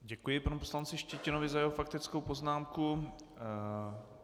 Děkuji panu poslanci Štětinovi za jeho faktickou poznámku.